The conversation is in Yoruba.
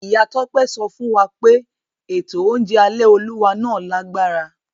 Ìyá Tọ́pẹ́ sọ fún wa pé ètò oúnjẹ alẹ́ Olúwa náà lágbára.